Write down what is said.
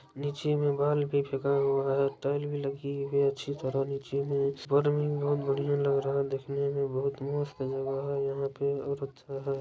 निचे में बाल भी फेका हुआ है टाइल्स भी लगी हुई है अच्छी तरह नीचे बहुत बढ़िए लग रहा है देखने में यहां के